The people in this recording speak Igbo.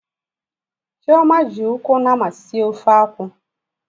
Chioma ji ụkwụ nama sie ofe akwu.